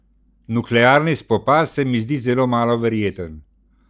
Nuklearni spopad se mi zdi zelo malo verjeten.